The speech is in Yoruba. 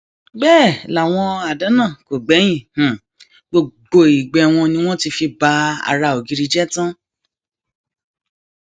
bẹẹ làwọn àdán náà kò gbẹyìn gbogbo igbe wọn ni wọn ti fi ba ara ògiri jẹ tán